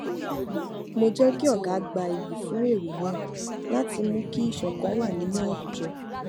mo jé kí ọga gba iyì fún èrò náà láti mú kí ìṣòkan wà nínú àwùjọ